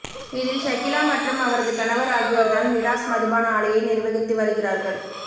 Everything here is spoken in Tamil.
இதில் ஷகீலா மற்றும் அவரது கணவர் ஆகியோர் தான் மிடாஸ் மதுபான ஆலையை நிர்வகித்து வருகிறார்கள்